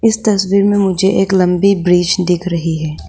इस तस्वीर में मुझे एक लंबी ब्रिज दिख रही है।